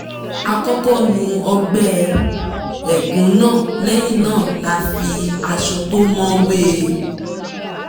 a kọ́kọ́ nu ọgbẹ́ ẹ̀gún náà lẹ́yìn náà la fi aṣọ tó mọ́ wé e